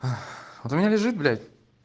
ах вот у меня лежит блять